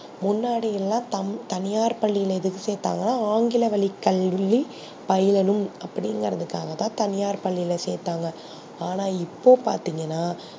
முன்னாடியில தனியார் பள்ளியில எதுக்கு சேத்தாங்கனா ஆங்கில வழி கல்வி பயிலனும் அப்டி இங்கர்துகாக தா தனியார் பள்ளியில சேத்தாங்க ஆனா இப்போ பாத்திங்கனா